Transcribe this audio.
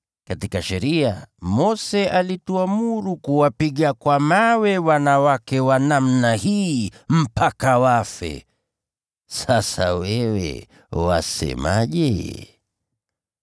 Katika sheria, Mose alituamuru kuwapiga kwa mawe wanawake wa namna hii, mpaka wafe. Sasa wewe wasemaje?”